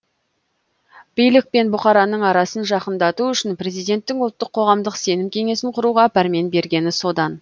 билік пен бұқараның арасын жақындату үшін президенттің ұлттық қоғамдық сенім кеңесін құруға пәрмен бергені содан